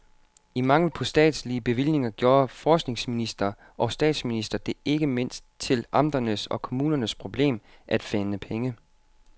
I mangel på statslige bevillinger gjorde forskningsminister og statsminister det ikke mindst til amternes og kommunernes problem at finde pengene.